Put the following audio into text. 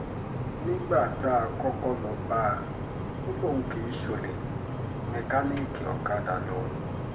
nígbà tá a kọ́kọ́ lọ́ọ́ bá a ò lóun kì í ṣọ̀lẹ mẹkáníìkì ọ̀kadà lòun